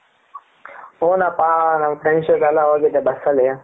ಹುನಪ್ಪ ನನ್ friends ಜೊತೆ ಎಲ್ಲ ಹೋಗಿದೆ ಬಸ್ ಅಲ್ಲಿ